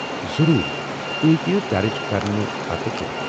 ضروٗر، تُہۍ ہیكِیٚو درٕج گژھنہٕ پتہٕ کٔرِتھ ۔